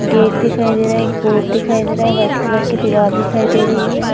Gate दिखाई दे रहा है। एक बोर्ड दिखाई दे रहा है। व्हाइट कलर की दीवाल दिखाई दे रही है।